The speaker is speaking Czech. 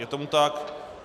Je tomu tak.